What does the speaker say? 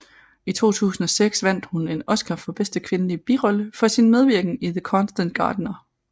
I 2006 vandt hun en Oscar for bedste kvindelige birolle for sin medvirken i The Constant Gardener